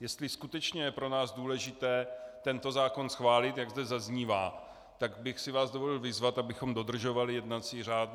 jestli skutečně je pro nás důležité tento zákon schválit, jak zde zaznívá, tak bych si vás dovolil vyzvat, abychom dodržovali jednací řád.